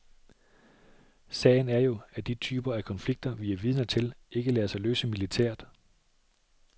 Sagen er jo, at de typer af konflikter, vi er vidner til, ikke lader sig løse militært.